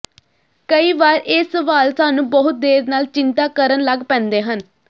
ਕਈ ਵਾਰ ਇਹ ਸਵਾਲ ਸਾਨੂੰ ਬਹੁਤ ਦੇਰ ਨਾਲ ਚਿੰਤਾ ਕਰਨ ਲੱਗ ਪੈਂਦੇ ਹਨ